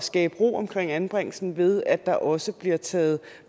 skabe ro omkring anbringelsen ved at der også bliver taget